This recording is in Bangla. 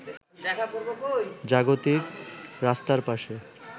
জাগতিক রাস্তার পাশে